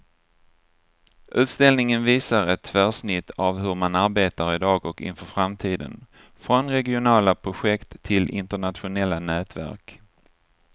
Utställningen visar ett tvärsnitt av hur man arbetar i dag och inför framtiden, från regionala projekt till internationella nätverk.